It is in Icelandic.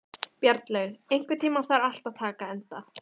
Bjarnlaug, einhvern tímann þarf allt að taka enda.